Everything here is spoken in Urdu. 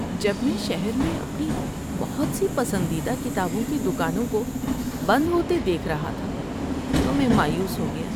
جب میں شہر میں اپنی بہت سی پسندیدہ کتابوں کی دکانوں کو بند ہوتے دیکھ رہا تھا تو میں مایوس ہو گیا۔